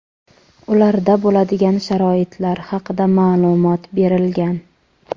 ularda bo‘ladigan sharoitlar haqida ma’lumot berilgan.